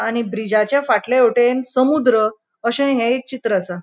आणि ब्रिजाच्या फाटल्या वाटेन समुद्र अशे हे एक चित्र आसा.